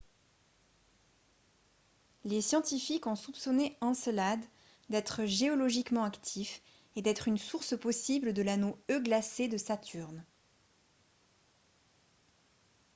les scientifiques ont soupçonné encelade d'être géologiquement actif et d'être une source possible de l'anneau e glacé de saturne